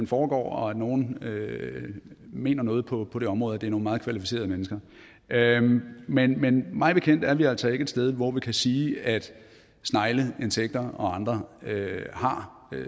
foregår og at nogle mener noget på det område og det er nogle meget kvalificerede mennesker men men mig bekendt er vi altså ikke et sted hvor vi kan sige at snegle insekter og andre har